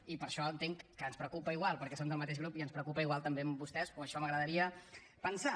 i per això entenc que ens preocupa igual perquè som del mateix grup i ens preocupa igual també que a vostès o això m’agradaria pensar